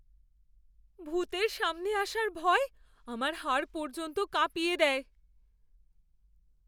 ভূতের সামনে আসার ভয় আমার হাড় পর্যন্ত কাঁপিয়ে দেয়।